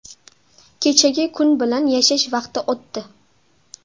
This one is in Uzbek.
Kechagi kun bilan yashash vaqti o‘tdi.